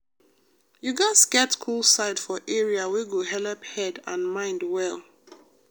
you gats get cool side for area wey go helep head and mind dey well.